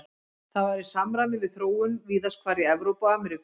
Þetta var í samræmi við þróun víðast hvar í Evrópu og Ameríku.